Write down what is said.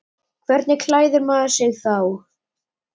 Hvernig klæðir maður sig þá?